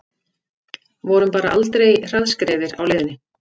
Vorum bara aldrei hraðskreiðir á leiðinni